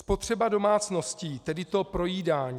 Spotřeba domácností, tedy to projídání.